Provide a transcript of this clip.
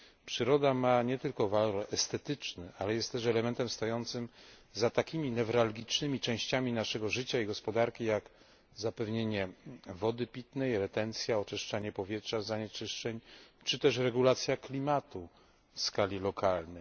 Przyroda ma nie tylko walory estetyczne, ale jest też elementem stojącym za takimi newralgicznymi częściami naszego życia i gospodarki jak zapewnienie wody pitnej, retencja, oczyszczanie powietrza z zanieczyszczeń czy też regulacja klimatu w skali lokalnej.